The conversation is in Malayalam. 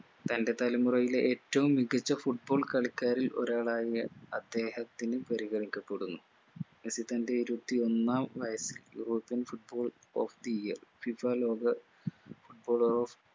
തൻ്റെ തലമുറയിലെ ഏറ്റവും മികച്ച foot ball കളിക്കാരിൽ ഒരാളായ അദ്ദേഹത്തിന് പരിഗണിക്കപ്പെടുന്നു മെസ്സി തൻ്റെ ഇരുപത്തിയൊന്നാം വയസ്സിൽ foot ball of the yearFIFA ലോക foot baller of